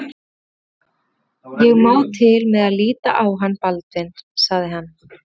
Ég má til með að líta á hann Baldvin sagði hann.